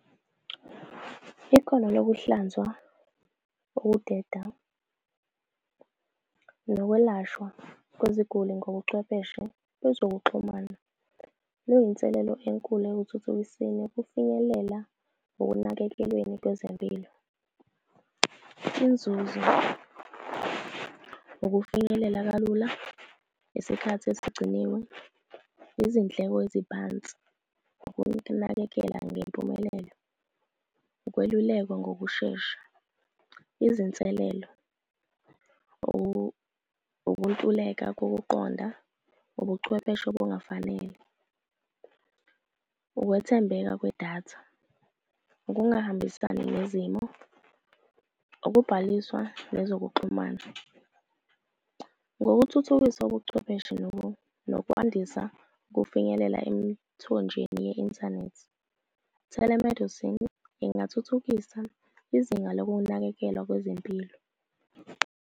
Ikhono lokuhlanzwa, ukudeda, nokwelashwa kweziguli ngobuchwepheshe bezokuxhumana kuyinselelo enkulu ekuthuthukiseni ukufinyelela ekunakekelweni kwezempilo. Inzuzo ukufinyelela kalula, isikhathi esigciniwe, izindleko eziphansi, ukunakekela ngempumelelo, ukwelulekwa ngokushesha. Izinselelo, ukuntuleka kokuqonda, ubuchwepheshe okungafanele, ukwethembeka kwedatha ukungahambisani nezimo, ukubhaliswa nezokuxhumana. Ngokuthuthukisa ubuchwepheshe nokwandisa kufinyelela emithonjeni ye-inthanethi. Telemedicine ingathuthukisa izinga lokunakekelwa kwezempilo.